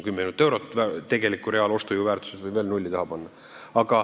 Ma ei tea, tegeliku ostujõu mõttes võib 10 miljonile veel nulli taha panna.